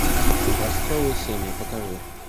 образцовые семьи покажи